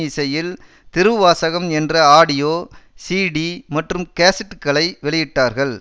இசையில் திருவாசகம் என்ற audio CD மற்றும் கேசட்டுகளை வெளியிட்டார்கள்